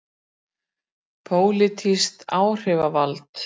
Pólitískt áhrifavald.